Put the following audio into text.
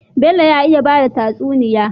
Bello ya iya bada tatsuniya